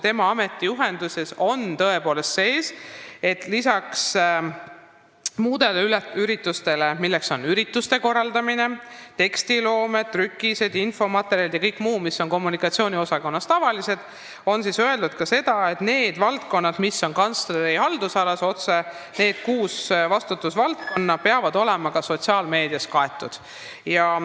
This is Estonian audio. Tema ametijuhendis on tõepoolest lisaks muudele ülesannetele kirjas ka see, et need kuus valdkonda, mis on kantsleri otseses haldusalas, peavad olema sotsiaalmeedias kaetud.